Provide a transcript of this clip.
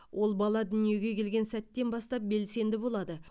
ол бала дүниеге келген сәттен бастап белсенді болады